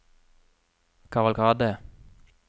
kavalkade